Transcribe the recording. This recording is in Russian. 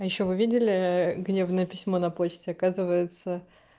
а ещё вы видели гневное письмо на почте оказывается